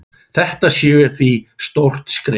Þetta sé því stórt skref.